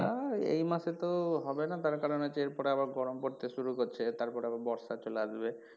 এই মাসে তো হবে না তার কারন হচ্ছে এর পরে আবার গরম পড়তে শুরু করছে তারপরে আবার বর্ষা চলে আসবে।